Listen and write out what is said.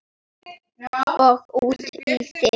Og út í þig.